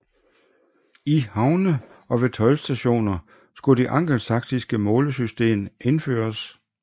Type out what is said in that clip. I havne og ved toldstationer skulle det angelsaksiske målesystem indføres indføres